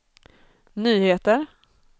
nyheter